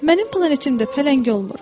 Mənim planetimdə pələng olmur.